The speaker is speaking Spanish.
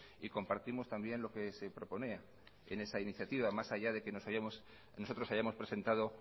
y compartimos también lo que se proponía en esa iniciativa más allá de que nosotros hayamos presentado